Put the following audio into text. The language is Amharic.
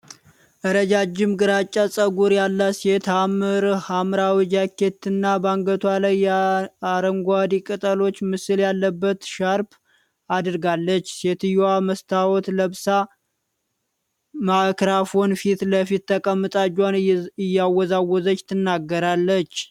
ረዣዥም ግራጫ ፀጉር ያላት ሴት ሐመር ሐምራዊ ጃኬት እና በአንገቷ ላይ የአረንጓዴ ቅጠሎች ምስል ያለበት ሻርፕ አድርጋለች። ሴትየዋ መስታወት ለብሳ ማይክሮፎን ፊት ለፊት ተቀምጣ እጇን እያወዛወዘች ትናገራለች።